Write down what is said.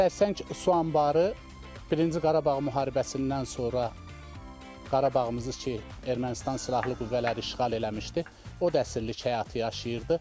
Sərsəng su anbarı Birinci Qarabağ müharibəsindən sonra Qarabağımızı ki Ermənistan silahlı qüvvələri işğal eləmişdi, o dözərsizlik həyatı yaşayırdı.